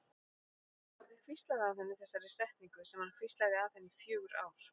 Hafði hvíslað að henni þessari setningu sem hann hvíslaði að henni í fjögur ár.